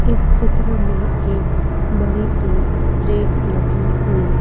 इस चित्र मे एक बड़ी सी रैक लगी हुई--